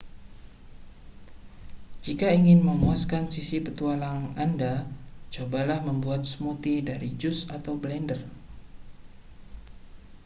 jika ingin memuaskan sisi petualang anda cobalah membuat smoothie dari jus atau blender